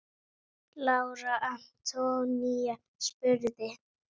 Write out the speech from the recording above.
Lára Antonía spurði.